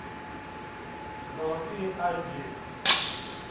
золотые аш ди